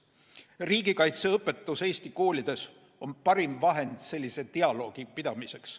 Riigikaitseõpetus Eesti koolides on parim vahend sellise dialoogi pidamiseks.